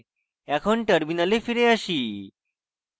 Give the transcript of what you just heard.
এখন terminal ফিরে আসি